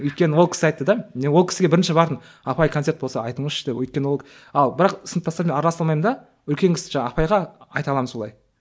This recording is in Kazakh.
өйткені ол кісі айтты да ол кісіге бірінші бардым апай концерт болса айтыңызшы деп өйткені ал бірақ сыныптастарыммен араласа алмаймын да үлкен кісі жаңа апайға айта аламын солай